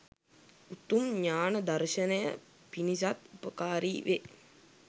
උතුම් ඤාණ දර්ශනය පිණිසත් උපකාරී වේ